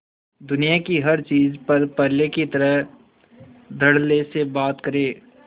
दुनिया की हर चीज पर पहले की तरह धडल्ले से बात करे